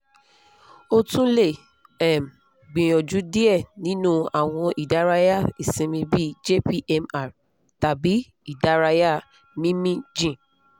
o tun le um gbiyanju diẹ ninu awọn idaraya isinmi bi jpmr tabi idaraya mimi jin